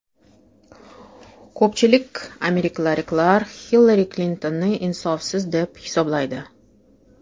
Ko‘pchilik amerikaliklar Hillari Klintonni insofsiz deb hisoblaydi.